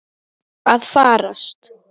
Jesús minn stundi Kata.